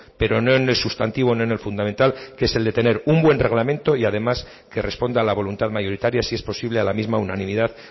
pero no en el sustantivo en lo fundamental que es el de tener un buen reglamento y además que responde a la voluntad mayoritaria si es posible a la misma unanimidad